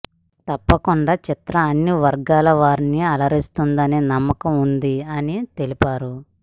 తప్పకుండా చిత్రం అన్ని వర్గాల వారిని అలరిస్తుందనే నమ్మకం వుంది అని తెలిపారు